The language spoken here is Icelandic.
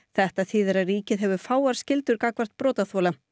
þetta þýðir að ríkið hefur fáar skyldur gagnvart brotaþola